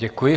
Děkuji.